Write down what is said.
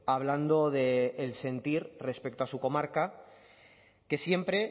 hablando del sentir respecto a su comarca que siempre